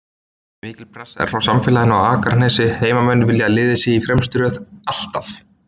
Mikil pressa frá samfélaginu á Akranesi, heimamenn vilja að liðið sé í fremstu röð, ALLTAF!